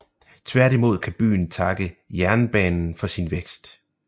Tværtimod kan byen takke jernbanen for sin vækst